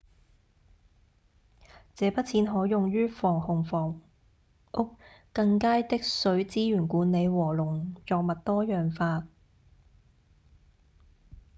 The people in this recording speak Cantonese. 這筆錢可用於防洪房屋、更佳的水資源管理和農作物多樣化